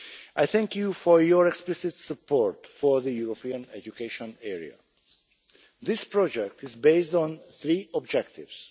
I thank you for your explicit support for the European education area. This project is based on three objectives.